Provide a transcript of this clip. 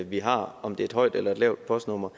vi har om det er et højt eller lavt postnummer